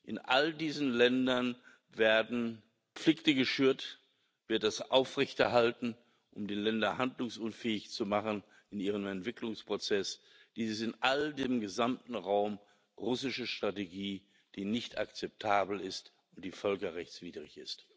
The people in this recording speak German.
In all diesen Ländern werden Konflikte geschürt, wird das aufrechterhalten, um die Länder handlungsunfähig zu machen in ihrem Entwicklungsprozess. Dies ist im gesamten Raum russische Strategie, die nicht akzeptabel ist und die völkerrechtswidrig ist.